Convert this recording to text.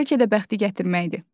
Bəlkə də bəxti gətirməkdir.